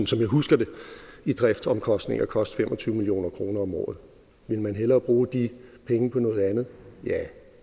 som jeg husker det i driftsomkostninger koste fem og tyve million kroner om året vil man hellere bruge de penge på noget andet ja